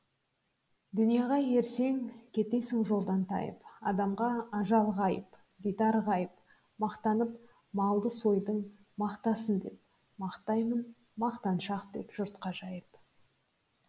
дүнияға ерсең кетесің жолдан тайып адамға ажал ғайып дидар ғайып мақтанып малды сойдың мақтасын деп мақтаймын мақтаншақ деп жұртқа жайып